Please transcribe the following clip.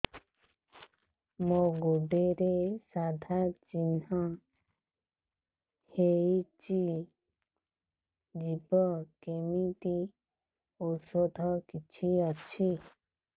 ମୋ ଗୁଡ଼ରେ ସାଧା ଚିହ୍ନ ହେଇଚି ଯିବ କେମିତି ଔଷଧ କିଛି ଅଛି